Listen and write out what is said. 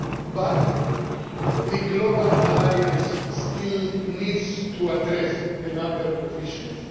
But the Global Alliance still needs to address a number of issues.